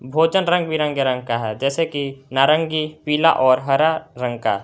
भोजन रंग बिरंगे रंग का है जैसे कि नारंगी पीला और हरा रंग।